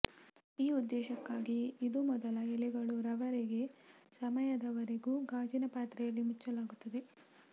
ಈ ಉದ್ದೇಶಕ್ಕಾಗಿ ಇದು ಮೊದಲ ಎಲೆಗಳು ರವರೆಗೆ ಸಮಯದವರೆಗೂ ಗಾಜಿನ ಪಾತ್ರೆಯಲ್ಲಿ ಮುಚ್ಚಲಾಗುತ್ತದೆ